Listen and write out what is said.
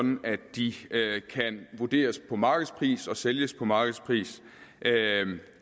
de kan vurderes på markedspris og sælges på markedspris